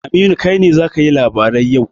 Aminu, kai ne za ka yi labarai yau.